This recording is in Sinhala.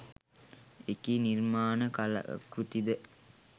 එකී නිර්මාණ කලාකෘති ද